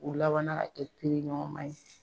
U labanna ka kɛ teriɲɔgɔnma ye